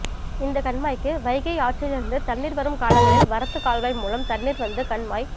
இந்த கண்மாய்க்கு வைகை ஆற்றில் இருந்து தண்ணீர் வரும் காலங்களில் வரத்து கால்வாய் மூலம் தண்ணீர் வந்து கண்மாய்